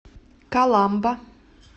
каламба